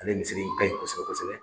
Ale misiri in ka ɲi kɔsɔbɛ kɔsɔbɛ.